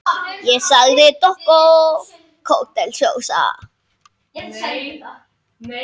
Kælið sósuna vel.